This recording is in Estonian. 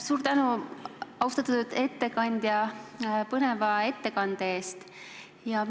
Suur tänu, austatud ettekandja, põneva ettekande eest!